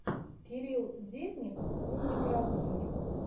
кирилл дедник умник разумник